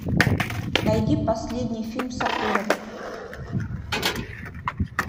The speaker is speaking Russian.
найди последний фильм сакурова